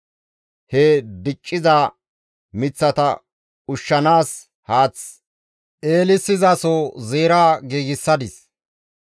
He dicciza miththata ushshanaas haath eelissizaso zeera giigsadis.